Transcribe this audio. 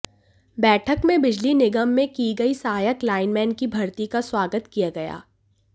बैठक में बिजली निगम में की गई सहायक लाइनमैन की भर्ती का स्वाग्त किया गया